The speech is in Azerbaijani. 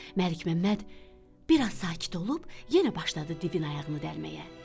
Məlikməmməd biraz sakit olub, yenə başladı divin ayağını dəlməyə.